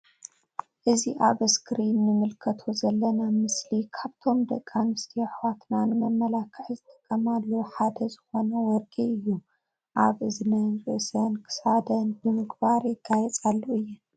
እዚ ኣብ እስክሪን እንምልከቶ ዘለና ምስሊ ካብቶም ደቂ፡ኣንስትዮ ኣሕዋትና ንመመላዒ ዝጥቀማሉ ሓደ ዝኮነ ወርቂ እዩ ኣብ እዝነን ርእሰን ክሳደን ብምግባር ይገያጸሉ እየን።